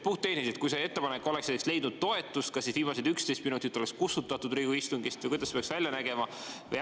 Puhttehniliselt, kui see ettepanek oleks leidnud toetust, kas siis viimased 11 minutit oleks kustutatud Riigikogu istungist või kuidas see peaks välja nägema?